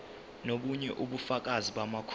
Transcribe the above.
nobunye ubufakazi bamakhono